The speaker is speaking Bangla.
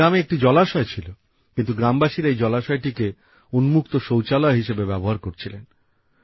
এই গ্রামে একটি জলাশয় ছিল কিন্তু গ্রামবাসীরা এই জলাশয়টিকে উন্মুক্ত শৌচালয় হিসেবে ব্যবহার করছিলেন